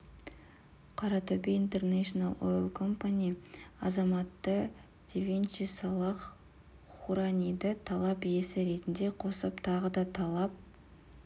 қаратөбе интернэшнл ойл компани азаматы девинчи салах хураниды талап иесі ретінде қосып тағы да талап